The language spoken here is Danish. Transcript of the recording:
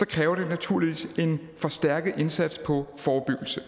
kræver det naturligvis en forstærket indsats på forebyggelse